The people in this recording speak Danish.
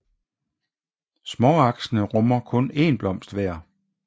Småaksene rummer kun én blomst hver